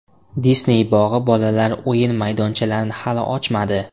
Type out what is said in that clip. Disney bog‘i bolalar o‘yin maydonchalarini hali ochmadi.